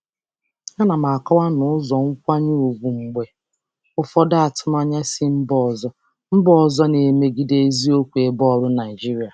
Ana m akọwa n'ụzọ nkwanye ùgwù mgbe ụfọdụ atụmanya si mba ọzọ mba ọzọ na-emegide eziokwu ebe ọrụ Naịjirịa.